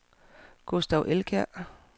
Gustav Elkjær